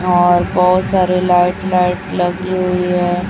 और बहोत सारे लाइट लाइट लगी हुई है।